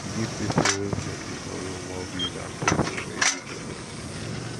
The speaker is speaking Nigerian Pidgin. we give pipo wey plenty for room more bill dan pipo wey live alone